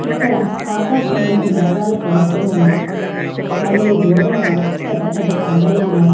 ఇక్కడ ఆకాశంలో మేఘాలు కమ్ముకున్ని ఉన్నాయి. మరియు దూరంగా పెద్ద పెద్ద కొండలు ఉన్నాయి.